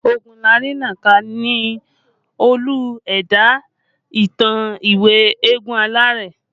Ogunlarinnaka ni Olú ẹ̀dá ìtàn ìwé Eégún Aláré